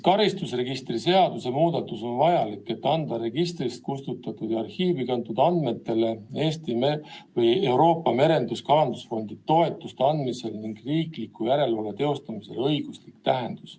Karistusregistri seaduse muudatus on vajalik, et anda registrist kustutatud ja arhiivi kantud andmetele Euroopa Merendus- ja Kalandusfondi toetuste andmisel ning riikliku järelevalve teostamisel õiguslik tähendus.